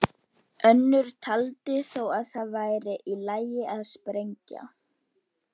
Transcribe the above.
Önnur taldi þó að það væri í lagi að sprengja.